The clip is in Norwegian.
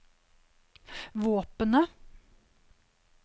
våpenet